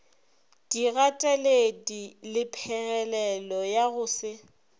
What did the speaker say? digateledi lephegelelo ya go se